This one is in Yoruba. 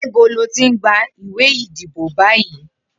Nibó lò ti n gbá iwé idibó bàyí?